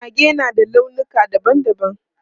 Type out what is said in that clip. Mage na da launuka dabam dabam.